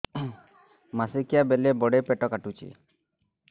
ମାସିକିଆ ବେଳେ ବଡେ ପେଟ କାଟୁଚି